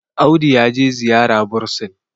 Audu ya je ziyara bursin